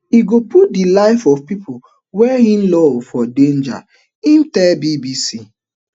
ego put di life of pipu wey in love for danger in tell BBC